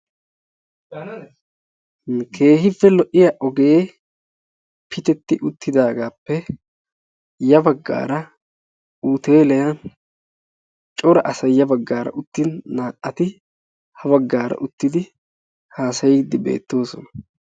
keehippe lo'iya ogee pitetti uttidaagaappe ya bagaara cora asay ya bagaara uttin naa'atti haasayiidi beetoosona.